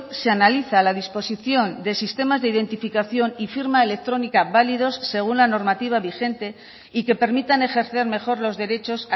se analiza la disposición de sistemas de identificación y firma electrónica validos según la normativa vigente y que permitan ejercer mejor los derechos